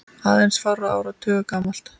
aðeins fárra áratuga gamalt.